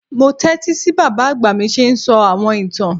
Mo tẹtísí bí bábá àgbà mí ṣe ń sọ àwọn ìtán.